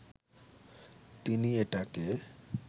তিনি এটাকে